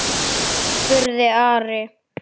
spurði Ari.